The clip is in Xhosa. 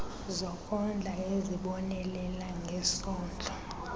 zokondla ezibonelela ngesondlo